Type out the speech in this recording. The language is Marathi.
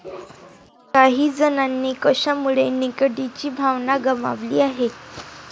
काही जणांनी कशामुळे निकडीची भावना गमावली आहे?